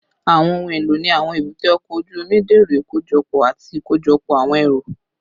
Awọn ohun elo ni awọn ebute oko oju omi dẹrọ ikojọpọ ati ikojọpọ awọn ẹru